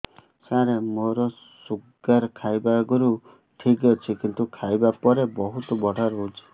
ସାର ମୋର ଶୁଗାର ଖାଇବା ଆଗରୁ ଠିକ ଅଛି କିନ୍ତୁ ଖାଇବା ପରେ ବହୁତ ବଢ଼ା ରହୁଛି